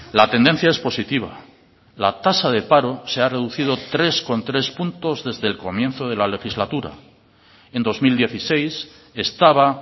la tendencia es positiva la tasa de paro se ha reducido tres coma tres puntos desde el comienzo de la legislatura en dos mil dieciséis estaba